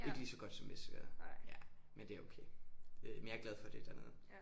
Ikke lige så godt som Vestergade ja men det er okay øh men jeg er glad for det dernede